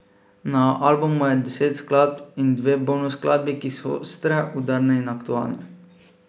Na albumu je deset skladb in dve bonus skladbi, ki so ostre, udarne in aktualne.